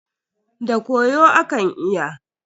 Da koyo akan iya.